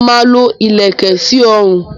Mo máa lo ìlèkẹ̀ sí ọrùn.